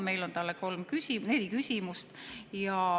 Meil on talle neli küsimust.